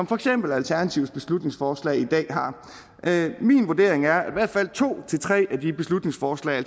for eksempel alternativets beslutningsforslag i dag har min vurdering er at i hvert fald to tre af de beslutningsforslag